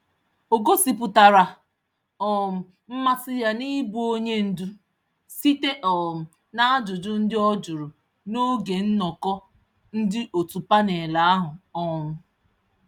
Ọ gosi pụtara um mmasị ya n'ibụ onye ndu, site um najụjụ ndị ọjụrụ n'oge nnọkọ ndị òtù panel ahụ um